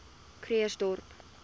krugersdorp